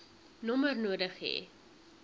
nommer nodig hê